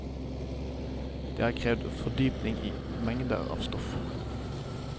Det har krevet fordypning i mengder av stoff.